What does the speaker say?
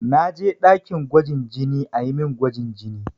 Na je ɗakin gwajin jini a yi min gwajin jini.